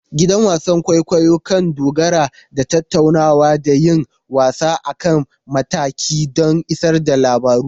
Gidan wasan kwaikwayo kan dogara da tattaunawa da yin wasa a kan mataki don isar da labaru.